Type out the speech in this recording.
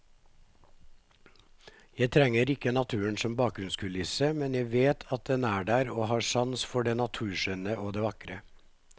Jeg trenger ikke naturen som bakgrunnskulisse, men jeg vet at den er der og har sans for det naturskjønne og vakre.